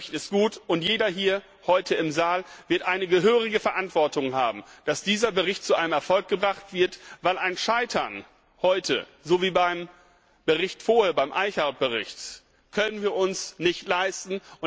Dieser Bericht ist gut, und jeder hier heute im Saal wird eine gehörige Verantwortung haben, dass dieser Bericht zu einem Erfolg gemacht wird. Denn ein Scheitern heute so wie beim Bericht vorher, beim Bericht Eickhout können wir uns nicht leisten.